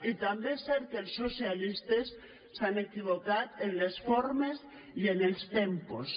i també és cert que els socialistes s’han equivocat amb les formes i amb els tempos